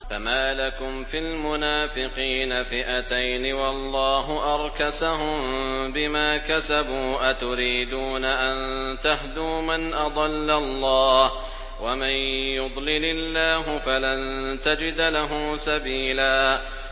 ۞ فَمَا لَكُمْ فِي الْمُنَافِقِينَ فِئَتَيْنِ وَاللَّهُ أَرْكَسَهُم بِمَا كَسَبُوا ۚ أَتُرِيدُونَ أَن تَهْدُوا مَنْ أَضَلَّ اللَّهُ ۖ وَمَن يُضْلِلِ اللَّهُ فَلَن تَجِدَ لَهُ سَبِيلًا